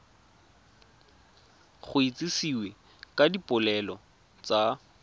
go itsisiwe ka dipoelo tsa